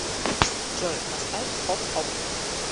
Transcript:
джой поставь хоп хоп